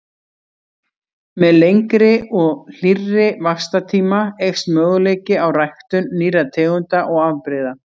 Með lengri og hlýrri vaxtartíma eykst möguleiki á ræktun nýrra tegunda og afbrigða.